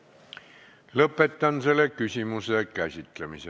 Lõpetan selle küsimuse käsitlemise.